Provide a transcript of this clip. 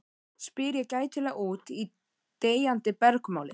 spyr ég gætilega út í deyjandi bergmálið.